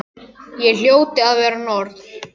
Ég hljóti að vera norn.